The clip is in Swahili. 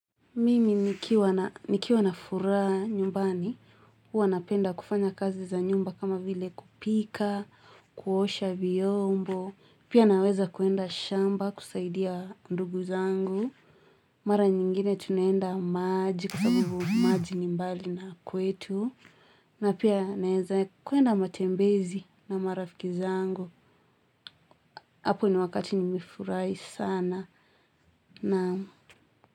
Mimi nikiwa na furaha nyumbani, uwa napenda kufanya kazi za nyumba kama vile kupika, kuosha viyombo, pia naweza kuenda shamba kusaidia ndugu zangu, mara nyingine tunaenda maji kwa sababu maji ni mbali na kwetu, na pia naeza kuenda matembezi na marafiki zangu, hapo ni wakati nimefurai sana na.